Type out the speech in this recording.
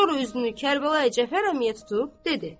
Sonra üzünü Kərbəlayi Cəfər əmiyə tutub dedi: